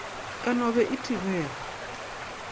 ka no be e thibega